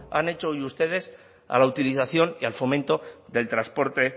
han hecho hoy ustedes a la utilización y al fomento del transporte